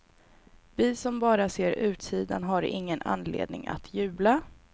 Vi som bara ser utsidan har ingen anledning att jubla.